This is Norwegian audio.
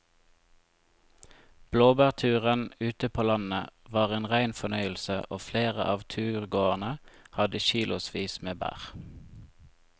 Blåbærturen ute på landet var en rein fornøyelse og flere av turgåerene hadde kilosvis med bær.